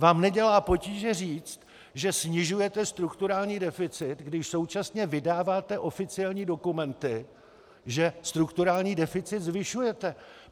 Vám nedělá potíže říct, že snižujete strukturální deficit, když současně vydáváte oficiální dokumenty, že strukturální deficit zvyšujete.